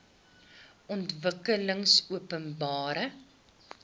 ontwikkelingopenbare